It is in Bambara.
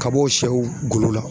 Kabɔ sɛw golo la.